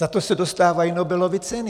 Za to se dostávají Nobelovy ceny.